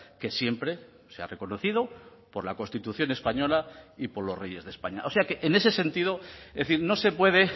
que siempre se ha reconocido por la constitución española y por los reyes de españa o sea que en ese sentido es decir no se puede